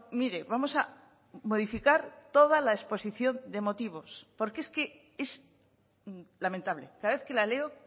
mire vamos a modificar toda la exposición de motivos porque es que es lamentable cada vez que la leo